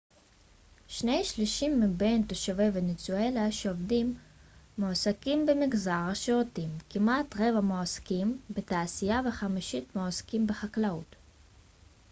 שני שלישים מבין תושבי ונצואלה שעובדים מועסקים במגזר השירותים כמעט רבע מועסקים בתעשייה וחמישית מועסקים בחקלאות